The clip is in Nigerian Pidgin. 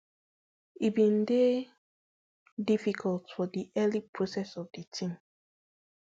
e bin dey difficult for di early process of di tin